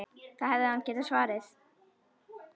Það hefði hann getað svarið.